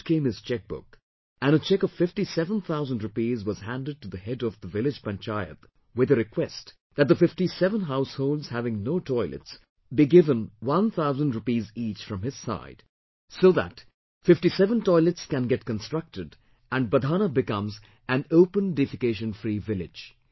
Out came his cheque book, and a cheque of FiftySeven thousand rupees was handed to the head of the village Panchayat with a request that the 57 households having no toilets be give one thousand rupees each from his side, so that 57 toilets can get constructed and Badhana becomes an Open Defecation Free village